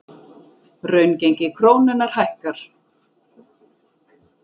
Raungengi krónunnar hækkar